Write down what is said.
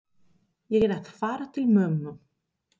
Ég er að fara til mömmu.